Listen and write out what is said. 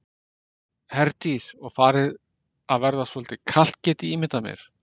Herdís: Og farið að verða svolítið kalt get ég ímyndað mér?